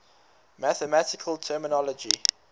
mathematical terminology